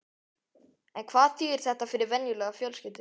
En hvað þýðir þetta fyrir venjulega fjölskyldu?